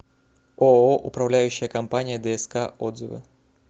ооо управляющая компания дск отзывы